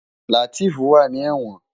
Lateef wá ni èwòn